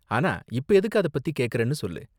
ஆனா, இப்ப எதுக்கு அதப் பத்தி கேக்கறன்னு சொல்லு.